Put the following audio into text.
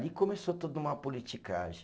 começou toda uma politicagem.